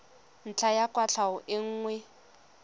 ntlha ya kwatlhao e nngwe